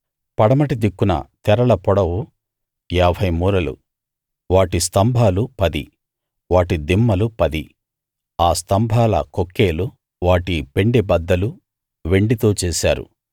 పడమటి దిక్కున తెరల పొడవు ఏభై మూరలు వాటి స్తంభాలు పది వాటి దిమ్మలు పది ఆ స్తంభాల కొక్కేలు వాటి పెండె బద్దలు వెండితో చేశారు